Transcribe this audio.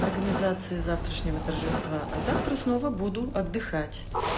организации завтрашнего торжества а завтра снова буду отдыхать